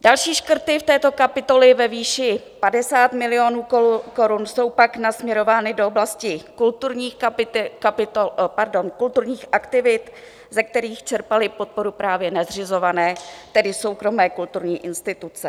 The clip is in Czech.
Další škrty v této kapitole ve výši 50 milionů korun jsou pak nasměrovány do oblasti kulturních aktivit, ze kterých čerpaly podporu právě nezřizované, tedy soukromé kulturní instituce.